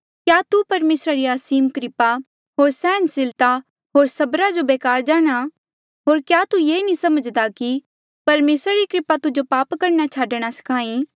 क्या तू परमेसरा री असीम कृपा होर सैहनसीलता होर सब्रा जो बेकार जाणहां होर क्या तू ये नी समझ्दा कि परमेसरा री कृपा तुजो पाप करणा छाडणा स्खाहीं